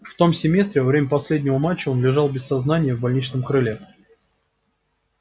в том семестре во время последнего матча он лежал без сознания в больничном крыле